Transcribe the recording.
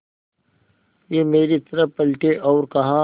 वे मेरी तरफ़ पलटे और कहा